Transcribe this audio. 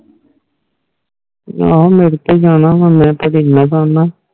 ਹਾਂ ਮੇਰੇ ਤੇ ਹੀ ਜਾਣਾ ਵਾ ਮੈ ਤਾ ਏਨਾ ਸੋਨਾ